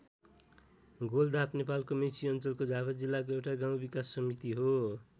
गोलधाप नेपालको मेची अञ्चलको झापा जिल्लाको एउटा गाउँ विकास समिति हो।